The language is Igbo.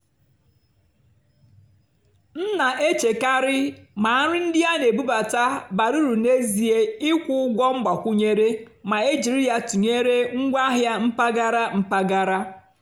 m nà-èchékàrị́ mà nrì ndí á nà-èbúbátá bàrà ùrù n'èzíé ị́kwụ́ ụ́gwọ́ mgbàkwúnyéré mà é jìrí yá tụ́nyeré ngwáàhịá mpàgàrà. mpàgàrà.